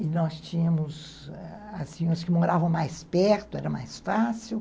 E nós tínhamos, assim, os que moravam mais perto, era mais fácil.